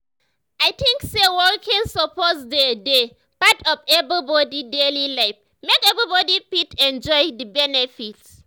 i think say walking suppose dey dey part of everybody daily life make everybody fit enjoy the benefits.